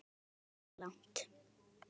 Stundum fórum við langt.